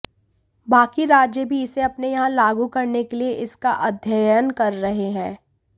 बाकी राज्य भी इसे अपने यहां लागू करने के लिये इसका अध्ययन कर रहे हैं